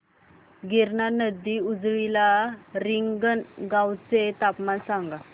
गिरणा नदी जवळील रिंगणगावाचे तापमान सांगा